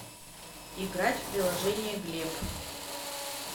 играть в приложение глеб